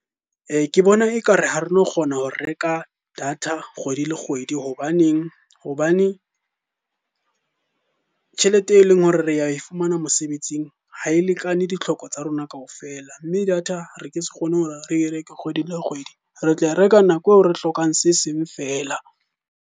Ke bona ekare ha re no kgona ho reka data kgwedi le kgwedi hobaneng? hobane tjhelete e leng hore re ya e fumana mosebetsing ha e lekane ditlhoko tsa rona kaofela. Mme data re ke se kgone hore re reke kgwedi le kgwedi, re tla reka nako eo re hlokang se seng feela.